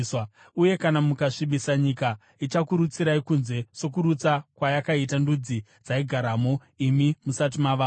Uye kana mukasvibisa nyika, ichakurutsirai kunze sokurutsa kwayakaita ndudzi dzaigaramo imi musati mavamo.